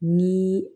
Ni